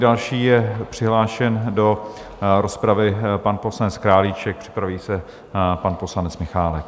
Dále je přihlášen do rozpravy pan poslanec Králíček, připraví se pan poslanec Michálek.